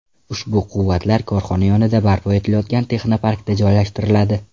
Ushbu quvvatlar korxona yonida barpo etilayotgan texnoparkda joylashtiriladi.